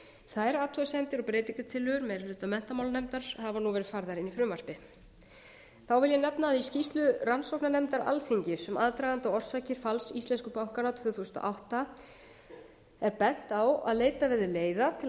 þær athugasemdir og breytingartillögur meiri hluta menntamálanefndar hafa verið færðar inn í frumvarpið þá vil ég nefna að í skýrslu rannsóknarnefndar alþingis um aðdraganda og orsakir falls íslensku bankanna tvö þúsund og átta er bent á að leitað verði leiða til að